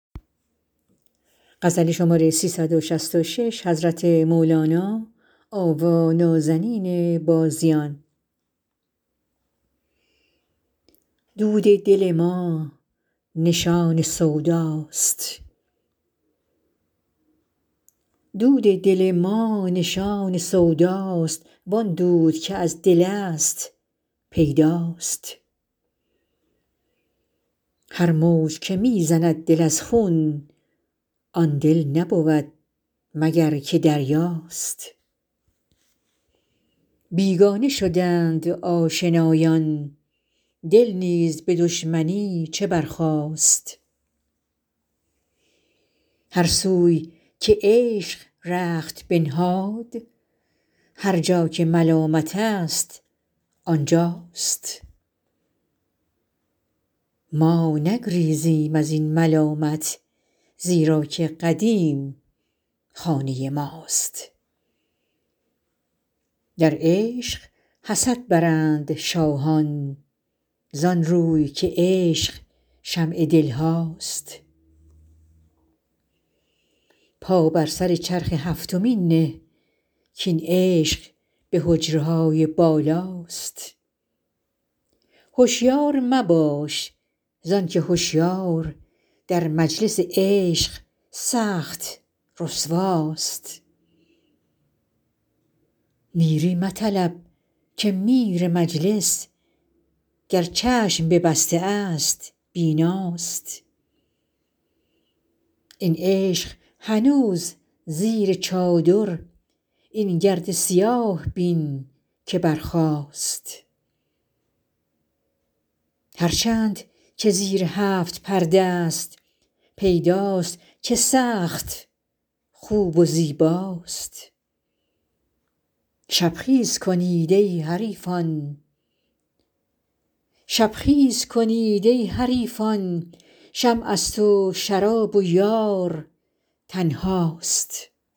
دود دل ما نشان سوداست وان دود که از دلست پیداست هر موج که می زند دل از خون آن دل نبود مگر که دریاست بیگانه شدند آشنایان دل نیز به دشمنی چه برخاست هر سوی که عشق رخت بنهاد هر جا که ملامت ست آن جاست ما نگریزیم از این ملامت زیرا که قدیم خانه ماست در عشق حسد برند شاهان زان روی که عشق شمع دل هاست پا بر سر چرخ هفتمین نه کاین عشق به حجره های بالاست هشیار مباش زان که هشیار در مجلس عشق سخت رسواست میری مطلب که میر مجلس گر چشم ببسته ست بیناست این عشق هنوز زیر چادر این گرد سیاه بین که برخاست هر چند که زیر هفت پرده ست پیداست که سخت خوب و زیباست شب خیز کنید ای حریفان شمعست و شراب و یار تنهاست